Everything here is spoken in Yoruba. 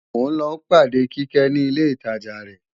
mò ń lọ pàde Kíkẹ́ ní ilé ìtajà rẹ